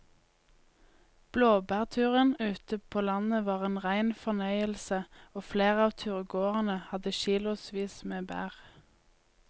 Blåbærturen ute på landet var en rein fornøyelse og flere av turgåerene hadde kilosvis med bær.